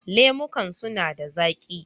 Lemukan suna da zaƙi